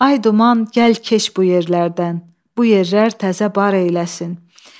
Ay duman, gəl keç bu yerlərdən, bu yerlər təzə bar eyləsin.